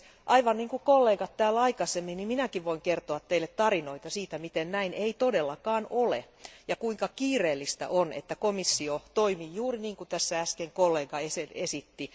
Aivan niin kuin kollegat täällä aikaisemmin, minäkin voin kertoa teille tarinoita siitä, miten näin ei todellakaan ole ja kuinka kiireellistä on, että komissio toimii juuri niin kuin tässä äsken kollega esitti.